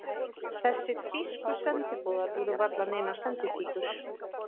Þessir þýsku sendiboðar voru varla neinar senditíkur.